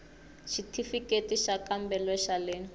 xithifiketi xa xikambelo xa le